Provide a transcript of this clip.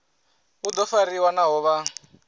u do fariwa naho vha